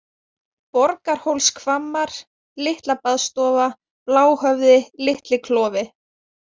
Borgarhólshvammar, Litlabaðstofa, Bláhöfði, Litli-Klofi